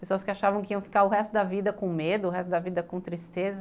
Pessoas que achavam que iam ficar o resto da vida com medo, o resto da vida com tristeza.